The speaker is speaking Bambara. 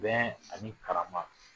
Bɛn ani karama